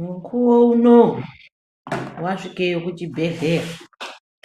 Mukuwo unowu wasvike kuchibhehleya